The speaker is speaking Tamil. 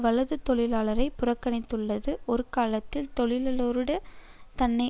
வலது தொழிலாளரை புறக்கணித்துள்ளது ஒருகாலத்தில் தொழிலாளரோடு தன்னை